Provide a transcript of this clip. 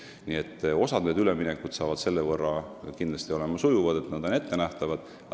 Nii et osa üleminekuid on kindlasti selle võrra sujuvamad, et nad on ettenähtavad.